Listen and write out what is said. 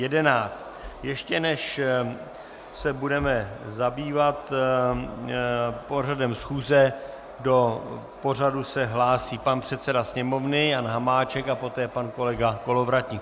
Ještě než se budeme zabývat pořadem schůze, do pořadu se hlásí pan předseda Sněmovny Jan Hamáček a poté pan kolega Kolovratník.